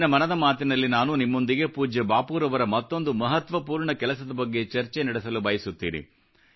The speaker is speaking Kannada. ಇಂದಿನ ಮನದ ಮಾತಿನಲ್ಲಿ ನಾನು ನಿಮ್ಮೊಂದಿಗೆ ಪೂಜ್ಯ ಬಾಪೂರವರ ಮತ್ತೊಂದು ಮಹತ್ವಪೂರ್ಣ ಕೆಲಸದ ಬಗ್ಗೆ ಚರ್ಚೆ ನಡೆಸಲು ಬಯಸುತ್ತೇನೆ